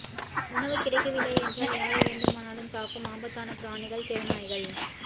உணவு கிடைக்கவில்லை என்றால் யாரை வேண்டுமானாலும் தாக்கும் ஆபத்தான பிராணிகள் தெருநாய்கள்